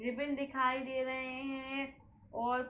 ribbon दिखाई दे रहे है और --